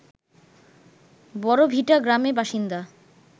বড়ভিটা গ্রামের বাসিন্দা